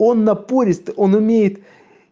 он напорист он умеет